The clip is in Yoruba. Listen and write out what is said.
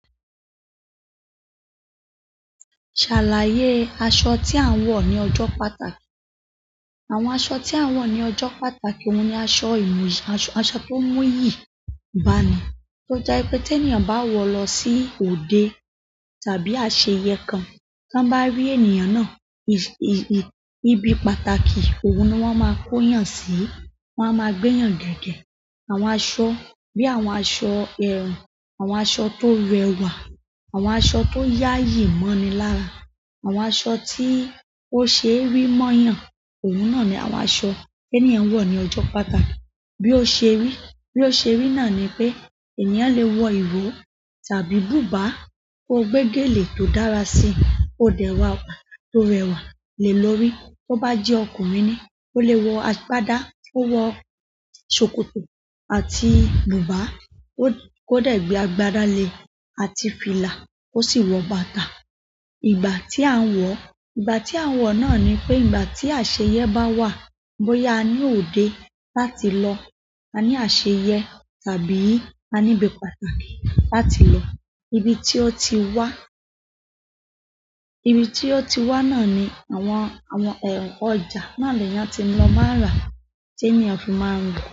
Ṣàlàyé aṣọ tí a ń wọ ní ọjọ́ pàtàkì. Àwọn aṣọ tí a ń wọ ní ọjọ́ pàtàkì oun ni aṣọ iyi, aṣọ, aṣọ tó n mú iyì, báni tó jẹ́ wipé tí ènìyàn bá wọ̀o lọ sí òde tàbí àṣeyẹ kan, tan bá rí ènìyàn náà, i-i-i ibi pàtàkì, òun ni wọ́n máa kóyàn sí, wọ́n á máa gbẹ́yàn gẹ́gẹ́. Àwọn aṣọ bí i àwọn aṣọ ẹ̀rùn, àwọn aṣọ tó rẹwà, àwọn aṣọ tó yayi mọ́ni lára, àwọn aṣọ tí ó ṣee rí mọ́yàn, òun náà ni àwọn aṣọ tí ènìyàn n wọ̀ ní ọjọ́ pàtàkì. Bí ó ṣe rí, bí ó ṣe rí náà ni pé ènìyàn lè wọ ìrò tàbí bùbá koó gbé gèlè tó dára sí i, koó dẹ̀ wawà, tó rẹwà lé lórí. Tó bá jẹ́ ọkùnrin ni, ó lè wọ àgbàdá, ó wọ ṣòkòtò àti bùbá, kó dẹ̀ gbe àgbàdá le àti fìlà, kó sì wọ bàtà. Ìgbà tí à ń wọ̀, ìgbà tí à ń wọ̀ náà ni pé ìgbà tí àṣeyẹẹ́ bá wà, bóyá a ní òde láti lọ, a ní àṣeyẹẹ́ tàbí a níbi pàtàkì láti lọ. Ibi tí ó ti wá, ibi tí ó ti wá náà ni àwọn, àwọn ọjà náà leeyan ti lọ máa n rà tí ènìyàn fi máa ń ri lọ̀.